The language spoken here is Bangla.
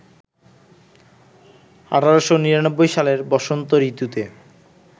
১৮৯৯ সালের বসন্ত ঋতুতে